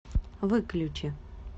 выключи